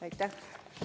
Aitäh!